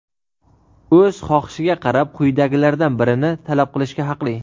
o‘z xohishiga qarab quyidagilardan birini talab qilishga haqli:.